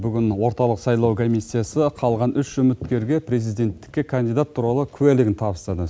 бүгін орталық сайлау комиссиясы қалған үш үміткерге президенттікке кандидат туралы куәлігін тапсырды